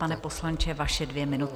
Pane poslanče, vaše dvě minuty.